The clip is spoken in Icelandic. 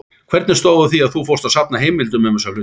Hvernig stóð á að þú fórst að safna heimildum um þessa hluti?